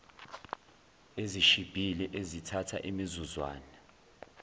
ezishibhile ezithatha imizuzwana